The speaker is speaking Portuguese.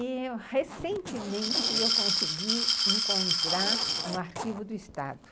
E, recentemente, eu consegui encontrar no arquivo do Estado.